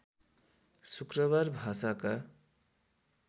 शुक्रबार भाषाका